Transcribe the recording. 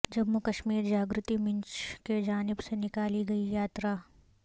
جمو ں کشمیر جاگرتی منچ کی جانب سے نکالی گئی یاترا